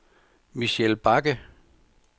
Michelle Bagge